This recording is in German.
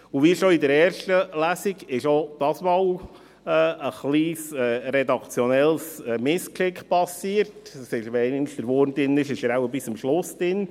Wie schon in der ersten Lesung, ist auch dieses Mal ein kleines redaktionelles Missgeschick passiert – wenn einmal der Wurm drin ist, dann ist er wohl bis zum Schluss drin: